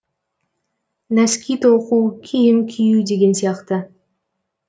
нәски тоқу киім кию деген сияқты